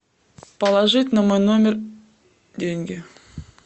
положить на мой номер деньги